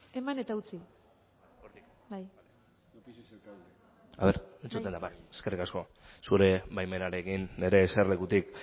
eman eta utzi bai eskerrik asko zure baimenarekin nire eserlekutik